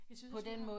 Jeg synes også du har